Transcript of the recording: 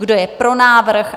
Kdo je pro návrh?